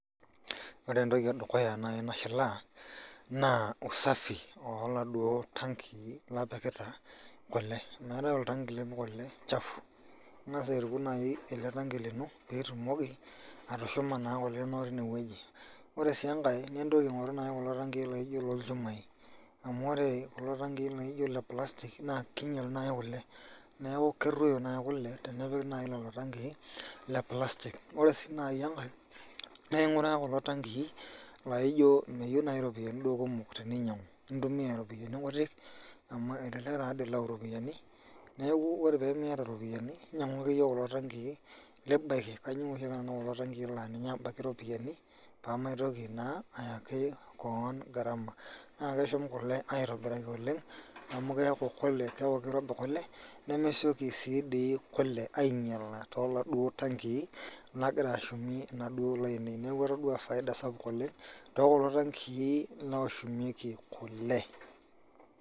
Ore entoki ee dukuya nayii nashilaa naa usafi oo laduo tankii lipikita kule meetae oltangi lipik kule chafu ing'asa aituku nayii ele tangi lino piitumoki atushuma naa kule inonok twineweji ore sii enkae entoki aingoru nayii kulo taankii laijo loolchumai omuu ore kulo taangi le plastic keinyel nayii kule neeku kerroyo nayii kule tenepiki nayii lelo tangii le plastic ore sii nayii enkae naa inguraa kulo tangii laijo meyieu nayii iropiyiani duoo kumok teninyangu intumia iropiyiani kutik amu elelek taa dii ilau iropiyiani neeku ore pemiyata iropiyiani nyang'u ake iye kulo tangii libaiki kanyorr nanu kulo tangii laa ninche abaiki iropiyiani pamaitoki naa ayaki koon garama naa keshum kule aitobiraki oleng' amu keeaku kule keeku keirobi kule nemesioki sii dii kule ainyala tooladuo tankii nagira ashumie inaduo ale ainei neeku atodua faida sapuk oleng' too kulo tankii oshumieki kule.